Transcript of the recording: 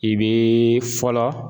I bɛ fɔlɔ